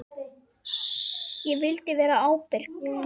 Ég vildi vera ábyrg.